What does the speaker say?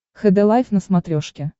хд лайф на смотрешке